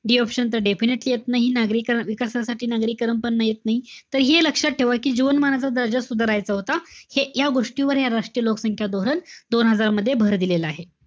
D option तर definitely येत नाही. नागरिका~ विकासासाठी नागरीकरण पण येत नाई. तर हे लक्षात ठेवा कि जीवनमानाचा दर्जा सुधारायचा होता. हे या गोष्टीवर हे राह्ट्रीय लोकसंख्या धोरण दोन हजार मध्ये भर दिलेला आहे.